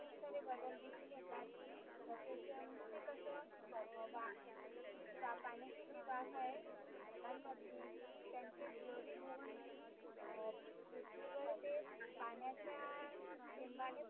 सारे बदल दिसुन येतात तसेच म्हणजे ते कसं अं वा जी पाण्याची जी वाफ आहे ढगांमधली की त्यांचे द्रव्यभवन म्हणुन अं पृथ्वीवर ते पाण्याच्या थेंबाने